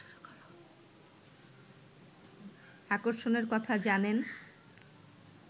আকর্ষণের কথা জানেন